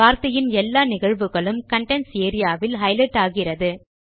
வார்த்தையின் எல்லா நிகழ்வுகளும் கன்டென்ட்ஸ் ஏரியா வில் ஹைலைட் ஆகிறது